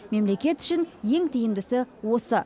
мемлекет үшін ең тиімдісі осы